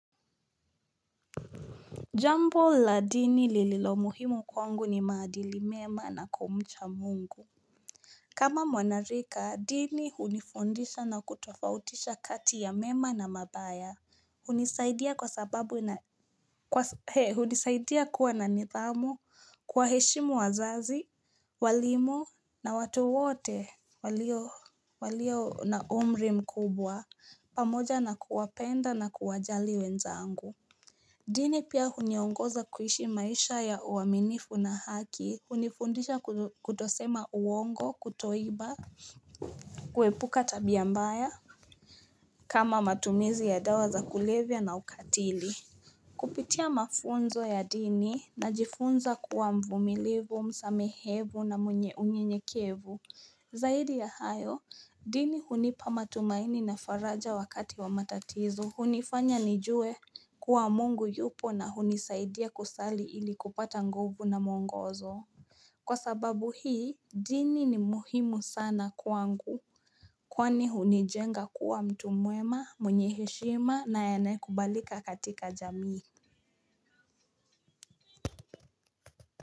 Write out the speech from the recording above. Jambo la dini lililo muhimu kwangu ni maadili mema na kumcha mungu. Kama mwanarika dini unifundisha na kutofautisha kati ya mema na mabaya, unisaidia kwa unisaidia kuwa na nithamo kuwaheshimu wazazi walimo na watu wote walio na umri mkubwa pamoja na kuwapenda na kuwajali wenzaangu. Dini pia uniongoza kuishi maisha ya uaminifu na haki, unifundisha kutosema uongo, kutoiba, kuepuka tabia mbaya kama matumizi ya dawa za kulevya na ukatili. Kupitia mafunzo ya dini najifunza kuwa mvumilivu, msamehevu na mwenye unyenyekevu. Zaidi ya hayo, dini hunipa matumaini na faraja wakati wa matatizo, unifanya nijue kuwa mungu yupo na unisaidia kusali ili kupata nguvu na muongozo. Kwa sababu hii, dini ni muhimu sana kwangu. Kwani hunijenga kuwa mtu mwema, mwenye heshima na anayekubalika katika jamii.